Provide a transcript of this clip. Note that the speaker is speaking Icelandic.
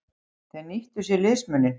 Þeir nýttu sér liðsmuninn.